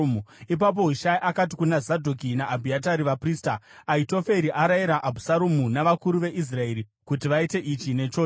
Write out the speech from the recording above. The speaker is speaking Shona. Ipapo Hushai akati kuna Zadhoki naAbhiatari, vaprista, “Ahitoferi arayira Abhusaromu navakuru veIsraeri kuti vaite ichi nechocho.